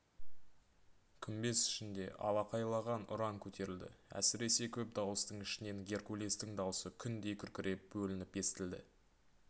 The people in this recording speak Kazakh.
күмбез ішінде алақайлаған ұран көтерілді әсіресе көп дауыстың ішінен геркулестің даусы күндей күркіреп бөлініп естілді